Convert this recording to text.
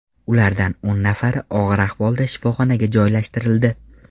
Ulardan o‘n nafari og‘ir ahvolda shifoxonaga joylashtirildi.